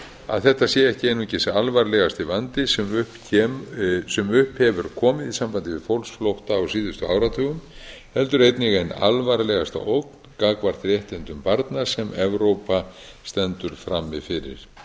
að þetta sé ekki einungis alvarlegasti vandi sem upp hefur komið í sambandi við fólksflótta á síðustu áratugum heldur einnig ein alvarlegasta ógn gagnvart réttindum barna sem evrópa stendur frammi fyrir